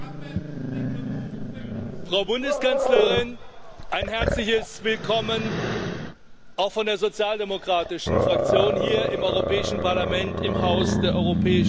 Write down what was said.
Frau Bundeskanzlerin, ein herzliches Willkommen auch von der Sozialdemokratischen Fraktion hier im Europäischen Parlament, im Haus der europäischen Demokratie!